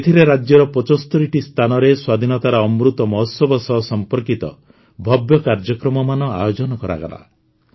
ଏଥିରେ ରାଜ୍ୟର ୭୫ଟି ସ୍ଥାନରେ ସ୍ୱାଧୀନତାର ଅମୃତ ମହୋତ୍ସବ ସହ ସମ୍ପର୍କିତ ଭବ୍ୟ କାର୍ଯ୍ୟକ୍ରମମାନ ଆୟୋଜନ କରାଗଲା